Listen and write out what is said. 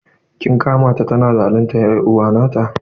Kin kama ta tana zaluntar er'uwa nata?